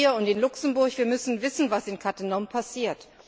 Wir in Trier und in Luxemburg müssen wissen, was in Cattenom passiert.